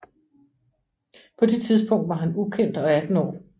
På det tidspunkt var han ukendt og 18 år